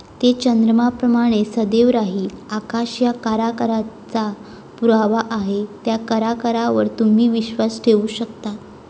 ते चंद्राप्रमाणे सदैव राहील. आकाश या कराराचा पुरावा आहे त्या करारावर तुम्ही विश्वास ठेवू शकता.